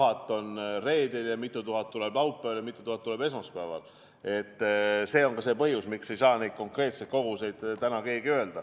Ma saan aru, mis te küsite: mitu tuhat tuleb reedel ja mitu tuhat tuleb laupäeval ja mitu tuhat tuleb esmaspäeval?